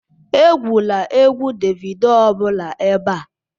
Egwula egwu Davido ọ bụla ebe a